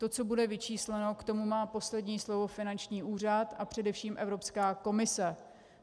To, co bude vyčísleno, k tomu má poslední slovo finanční úřad a především Evropská komise.